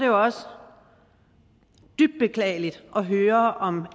jo også dybt beklageligt at høre om